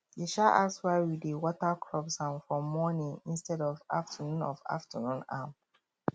e um ask why we dey water crops um for morning instead of afternoon of afternoon um